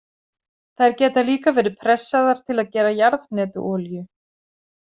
Þær geta líka verið pressaðar til að gera jarðhnetuolíu.